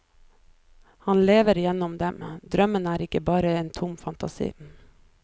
Han lever gjennom dem, drømmen er ikke bare en tom fantasi.